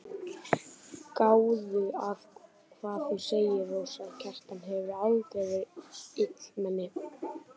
Gáðu að hvað þú segir, Rósa, Kjartan hefur aldrei verið illmenni.